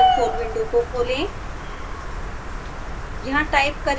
scilab console window को खोलें